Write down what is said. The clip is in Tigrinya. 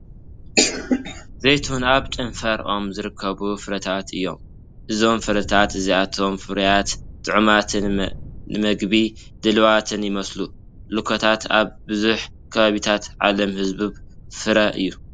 ዘይቱሁን ኣብ ጨንፈር ኦም ዝርከቡ ፍረታት እዮም። እዞም ፍረታት እዚኣቶም ፍሩያት፡ ጥዑማትን ንመግቢ ድሉዋትን ይመስሉ። ሎኳት ኣብ ብዙሕ ከባቢታት ዓለም ህቡብ ፍረ እዩ።